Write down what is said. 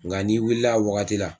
Nga n'i wulil' a wagati la